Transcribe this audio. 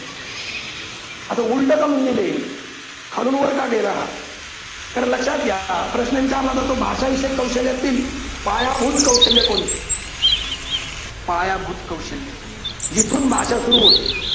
अस उलट का म्हणून लिहिलंय. खालून वर का गेला हा. कारण लक्षात घ्या हा प्रश्न विचारला जातो भाषा विषय कौशल्यातील पायाभूत कौशल्य कोणते? पायाभूत कौशल्य जिथून भाषा सुरू होते.